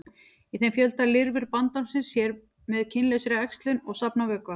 í þeim fjölga lirfur bandormsins sér með kynlausri æxlun og safna vökva